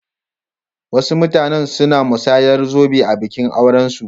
Wasu mutane suna musayar zobe a bikin aurensu.